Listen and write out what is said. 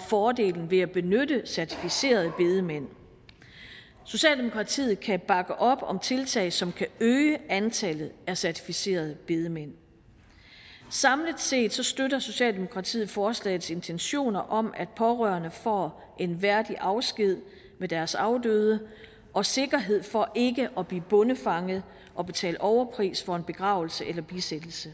fordelen ved at benytte certificerede bedemænd socialdemokratiet kan bakke op om tiltag som kan øge antallet af certificerede bedemænd samlet set støtter socialdemokratiet forslagets intentioner om at pårørende får en værdig afsked med deres afdøde og sikkerhed for ikke at blive bondefanget og betale overpris for en begravelse eller bisættelse